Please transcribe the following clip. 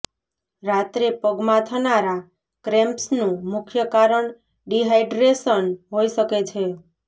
રાત્રે પગમાં થનારા ક્રેમ્પ્સનું મુખ્ય કારણ ડિહાઈડ્રેશન હોઈ શકે છે